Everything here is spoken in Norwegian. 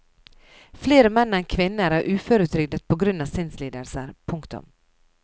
Flere menn enn kvinner er uføretrygdet på grunn av sinnslidelser. punktum